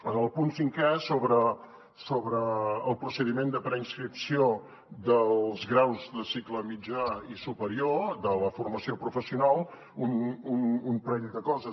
en el punt cinquè sobre el procediment de preinscripció dels graus de cicle mitjà i superior de la formació professional un parell de coses